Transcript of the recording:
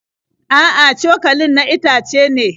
A'a, cokalin na itace ne.